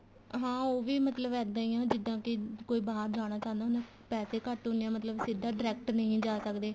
ਹਾਂ ਉਹ ਵੀ ਮਤਲਬ ਇੱਦਾਂ ਈ ਆ ਵੀ ਜਿੱਦਾਂ ਕੇ ਕੋਈ ਬਾਹਰ ਜਾਣਾ ਚਾਉਂਦਾ ਪੈਸੇ ਘੱਟ ਹੁੰਨੇ ਏ ਮਤਲਬ ਸਿੱਧਾ direct ਨਹੀਂ ਜਾ ਸਕਦੇ